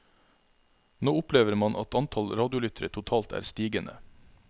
Nå opplever man at antall radiolyttere totalt er stigende.